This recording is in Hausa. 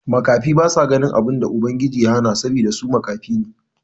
Makafi basa ganin abun da Ubangiji ya hana sabida su makafi ne.